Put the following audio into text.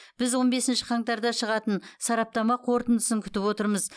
біз он бесінші қаңтарда шығатын сараптама қорытындысын күтіп отырмыз